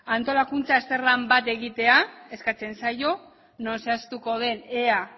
antolakuntzan azterlan bat egitea eskatzen zaio non zehaztuko den ea